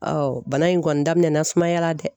bana in kɔni daminɛ na sumaya la dɛ